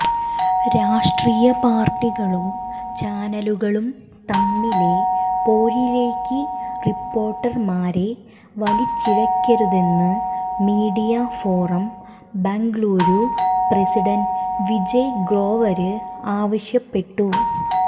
രാഷ്ട്രീയ പാര്ട്ടികളും ചാനലുകളും തമ്മിലെ പോരിലേക്ക് റിപ്പോര്ട്ടര്മാരെ വലിച്ചിഴക്കരുതെന്ന് media forum Bengaluru president Vijay Grover ആവശ്യപ്പെട്ടു